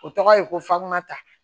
O tɔgɔ ye ko faŋa ta